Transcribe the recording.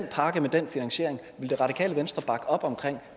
pakke med den finansiering ville det radikale venstre op om